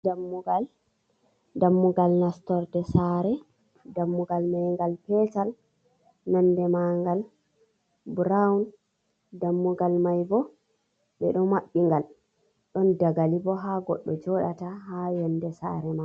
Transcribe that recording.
Dammugal, dammugal nastorde sare, dammugal mai ngal petal nonde magal burown, dammugal maibo ɓeɗo maɓɓi ngal ɗon dagali bo ha goɗɗo joɗata ha yonde sare mai.